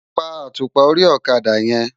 Pá átúpá óri òkadá yèn